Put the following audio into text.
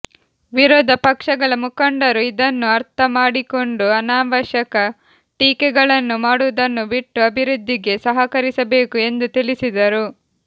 ವಿರೋಧ ಪಕ್ಷಗಳ ಮುಖಂಡರು ಇದನ್ನು ಅರ್ಥ ಮಾಡಿಕೊಂಡು ಅನಾವಶ್ಯಕ ಟೀಕೆಗಳನ್ನು ಮಾಡುವುದನ್ನು ಬಿಟ್ಟು ಅಭಿವೃದ್ದಿಗೆ ಸಹಕರಿಸಬೇಕು ಎಂದು ತಿಳಿಸಿದರು